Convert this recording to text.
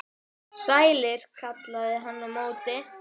Sælar, kallaði hann á móti.